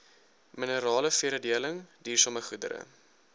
mineraleveredeling duursame goedere